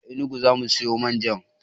A enugu zamu siyo manja